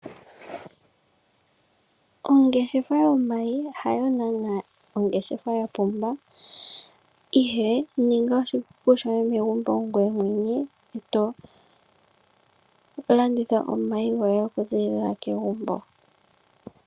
Ongeshefa yomayi hayo naanaa ongeshefa ya pumba, ihe ninga oshikuku shoye megumbo ngoye mwene e to landitha omayi goye okuziilila pegumbo.